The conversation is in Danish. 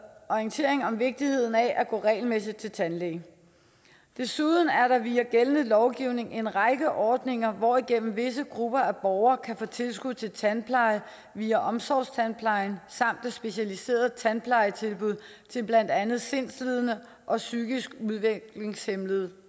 orientering om vigtigheden af at gå regelmæssigt til tandlæge desuden er der via gældende lovgivning en række ordninger hvorigennem visse grupper af borgere kan få tilskud til tandpleje via omsorgstandplejen samt specialiserede tandplejetilbud til blandt andet sindslidende og psykisk udviklingshæmmede